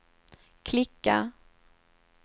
klicka